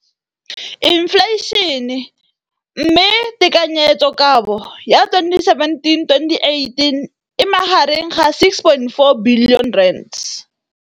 Infleišene, mme tekanyetsokabo ya 2017, 18, e magareng ga R6.4 bilione.